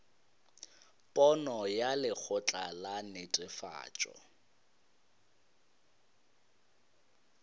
pono ya lekgotla la netefatšo